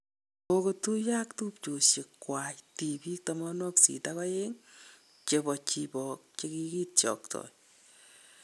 Kogotuiyoo ak tupchoyiekwak tiibiik 82 chebo Chibok chekigitiokto.